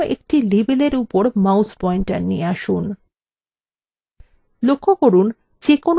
এবার এখানে যে কোন একটি label উপর mouse পয়েন্টার নিয়ে আসুন